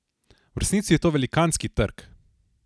V resnici je to velikanski trg!